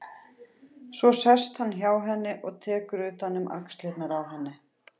Svo sest hann hjá henni og tekur utan um axlirnar á henni.